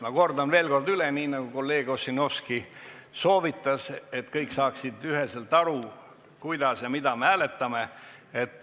Ma kordan veel kord üle, nii nagu kolleeg Ossinovski soovitas, et kõik saaksid üheselt aru, mida me hääletame.